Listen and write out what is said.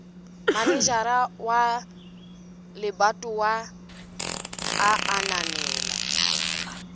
manejara wa lebatowa a ananela